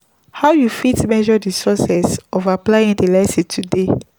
how you fit measure di success of applying di lesson today?